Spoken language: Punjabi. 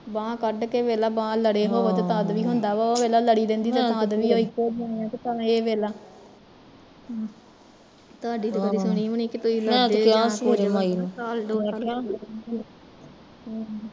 ਬਾਂਹ ਕੱਢ ਕੇ ਤੇ ਵੇਖਲਾ ਬਾਂਹ ਲੜੇ ਹੋਵੇ ਤੇ ਤਦ ਵੀ ਹੁੰਦਾ ਵੇਖਲਾ ਭਵੈ ਲੜੀ ਹੋਵੇ ਤਦ ਵੀ ਏਹ ਇੱਕੋ ਜਹੀਆ ਤੇ ਇਹ ਵੇਖਲਾ ਤੁਹਾਡੀ ਦੋਹਾਂ ਦੀ ਸੁਣੀ ਵੀ ਨੀ